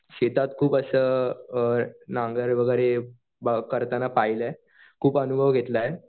शेतात खूप असं नांगर वगैरे करताना पाहिलंय खूप अनुभव घेतलाय.